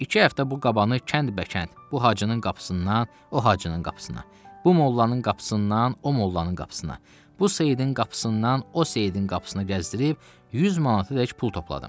İki həftə bu qabanı kənd-bəkənd, bu hacının qapısından o hacının qapısına, bu mollanın qapısından o mollanın qapısına, bu seyidin qapısından o seyidin qapısına gəzdirib 100 manatadək pul topladım.